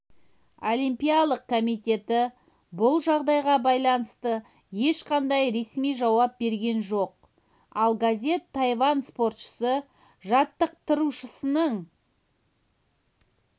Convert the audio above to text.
олимпиялық комитеті бұл жағдайға байланысты ешқандай ресми жауап берген жоқ ал газет тайвань спортшысы жаттықтырушысының